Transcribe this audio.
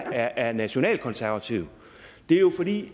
at jeg er nationalkonservativ er jo